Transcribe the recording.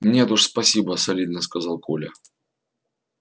нет уж спасибо солидно сказал коля